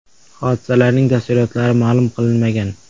Hodisalarning tafsilotlari ma’lum qilinmagan.